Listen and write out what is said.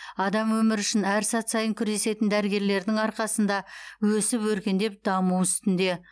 адам өмірі үшін әр сәт сайын күресетін дәрігерлердің арқасында өсіп өркендеп даму үстінде